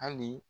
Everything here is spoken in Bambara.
Hali